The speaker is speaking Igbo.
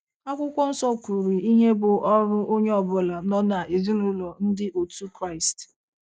Akwụkwọ nsọ kwuru ihe bụ́ ọrụ onye ọ bụla nọ n’ezinụlọ Ndị otu Kraịst.